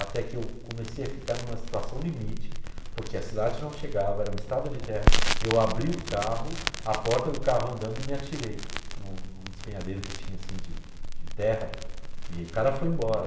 até que eu comecei a ficar em uma situação limite, porque a cidade não chegava, era uma estrada de terra, eu abri o carro, a porta do carro andando e me atirei em um em um despenhadeiro que tinha assim de de terra e o cara foi embora.